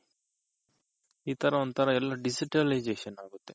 ಈ ತರ ಒಂತರ digitalization ಆಗುತ್ತೆ